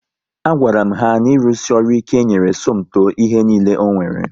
A gwara m ha na irusi ọrụ ike nyere Somto ihe niile o nwere